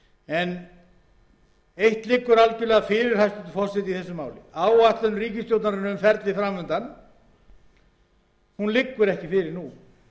sig eitt liggur algjörlega fyrir hæstvirtur forseti í þessu máli áætlun ríkisstjórnarinnar um ferlið fram undan liggur